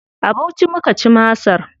A Bauchi muka ci masar.